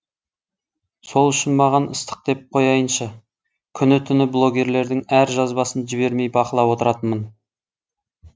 сол үшін маған ыстық деп қояйыншы күні түні блогерлердің әр жазбасын жібермей бақылап отыратынмын